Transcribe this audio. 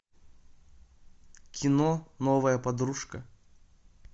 кино новая подружка